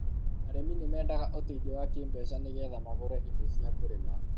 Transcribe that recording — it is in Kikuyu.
arĩmi nimendaga ũteithio wa kĩbeca nigetha magũre indo cia kũrìma